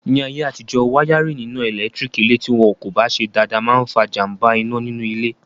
Ní ayé àtijọ́, wáyárìn iná ẹ̀lẹ́tírík ilé tí wọn kò bá ṣe dáadáa máa n fa jàmbá iná nínú ilé